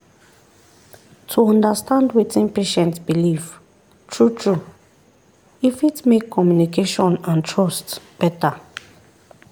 to understand wetin patient believe true-true e fit make communication and trust better.